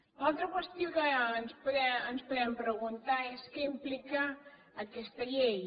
l’altra qüestió que ens podem preguntar és què implica aquesta llei